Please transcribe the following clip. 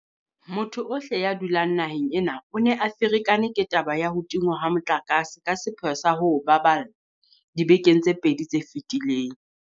Motho ohle ya dulang naheng ena o ne a ferekane ke taba ya ho tingwa ha motlakase ka sepheo sa ho o baballa dibekeng tse pedi tse fetileng.